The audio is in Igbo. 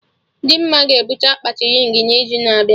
Dimma ga-ebute akpati rịng n'izu na-abịa